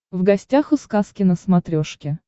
в гостях у сказки на смотрешке